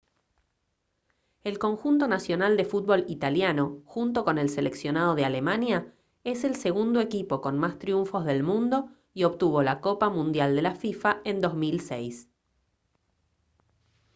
el conjunto nacional de fútbol italiano junto con el seleccionado de alemania es el segundo equipo con más triunfos del mundo y obtuvo la copa mundial de la fifa en 2006